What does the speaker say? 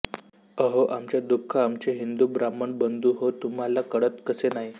अहो आमचे दुःख आमचे हिंदू ब्राह्मण बंधू हो तुम्हाला कळत कसे नाही